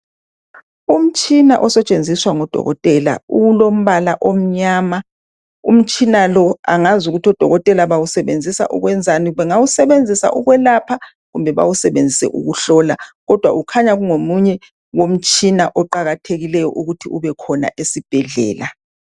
Umtshina osetshenziswa ngodokotela ulombala omnyama , umtshina lo angazi ukuthi odokotela bawusebenzisa ukwenzani , bengawusebenzisa ukwelapha kumbe bawusebenzise ukuhlola , kodwa ukhanya ungomunye womtshina oqakathekileyo ukuthi ubekhona esibhedlela